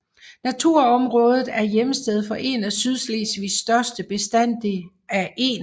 Naturområdet er hjemsted for en af Sydslesvigs største bestande af ener